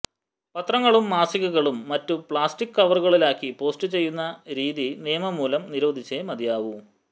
പത്രങ്ങളും മാസികകളും മറ്റും പ്ലാസ്റ്റിക് കവറുകളിലാക്കി പോസ്റ്റു ചെയ്യുന്ന രീതി നിയമംമൂലം നിരോധിച്ചേ മതിയാവൂ